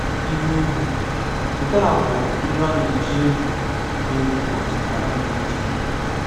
Ilu Egwu: Nke a a bụ ilu a na-eji egwu na egwu ọdịnala nke ndị Igbo.